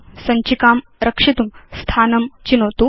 सञ्चिकां रक्षितुं स्थानं चिनोतु